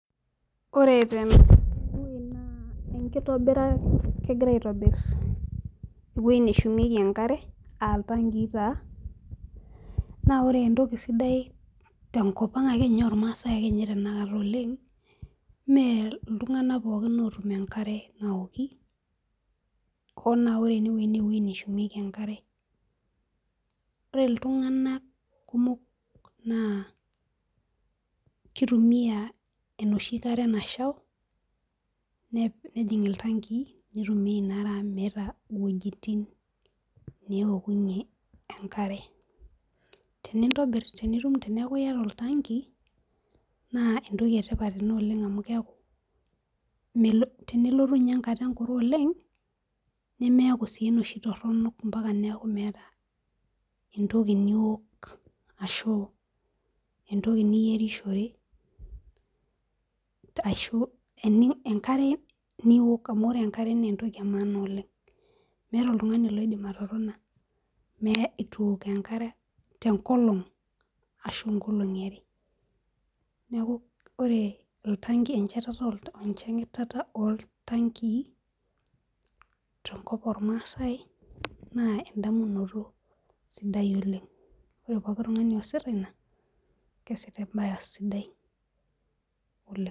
Oree ene naa kegirae aaitobirr eweujii neshumiekii enkaree aaa ilntangii naa oree entokii sidai tonkop ang ooo masae tanabata oleng mee ilntunganak pookin ootum enkare naoki hoo naa oree ene naa eweujii neshumiekii enkare oree ilntunganak kumok naa kitumia enoshii kare naashau nejing ilntangii peyiee itumiae teekuu iyaata olntangii naa kisidai amuu tenelotuu enkata enkuree oleng naa milau enkaree niwok ashuu niyierishore, neeku oree enchetata oo elntangiii tenkop naa endotoxin sidai oleng